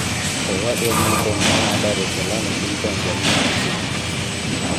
Owadwa Newton ma a Dar es Salaam e piny Tanzania onyiso BBC.